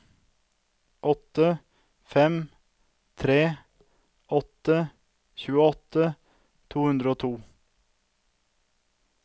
åtte fem tre åtte tjueåtte to hundre og to